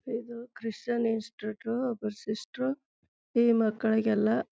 ಇದು Christian institute ಒಬ್ರು sister ಈ ಮಕ್ಕಳಿಗೆ ಎಲ್ಲ.